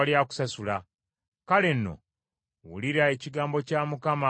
“ ‘Kale nno, wulira ekigambo kya Mukama ggwe omwenzi.